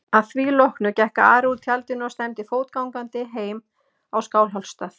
Að því loknu gekk Ari úr tjaldinu og stefndi fótgangandi heim á Skálholtsstað.